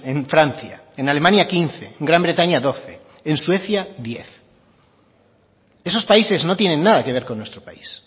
en francia en alemania quince gran bretaña doce en suecia diez esos países no tienen nada que ver con nuestro país